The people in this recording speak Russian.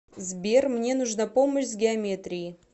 сбер мне нужна помощь с геометрией